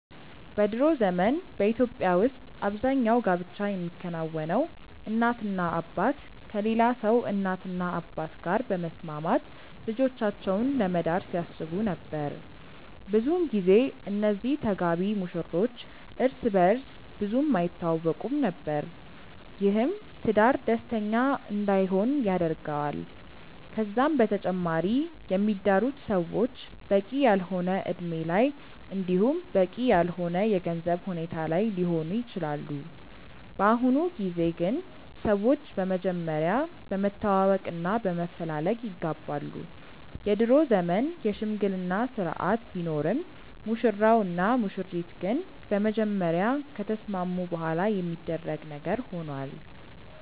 በ ድሮ ዘመን በኢትዮጵያ ውስጥ አብዛኛው ጋብቻ የሚከናወነው እናትና አባት ከሌላ ሰው እናትና አባት ጋር በመስማማት ልጆቻቸውን ለመዳር ሲያስቡ ነበር። ብዙን ጊዜ እነዚህ ተጋቢ ሙሽሮች እርስ በእርስ ብዙም አይተዋወቁም ነበር። ይህም ትዳር ደስተኛ እንዳይሆን ያደርገዋል። ከዛም በተጨማሪ የሚዳሩት ሰዎች በቂ ያልሆነ እድሜ ላይ እንዲሁም በቂ ያልሆነ የገንዘብ ሁኔታ ላይ ሊሆኑ ይችላሉ። በአሁኑ ጊዜ ግን ሰዎች በመጀመሪያ በመተዋወቅ እና በመፈላለግ ይጋባሉ። የድሮ ዘመን የሽምግልና ስርአት ቢኖርም ሙሽራው እና ሙሽሪት ግን በመጀመሪያ ከተስማሙ በኋላ የሚደረግ ነገር ሆኗል።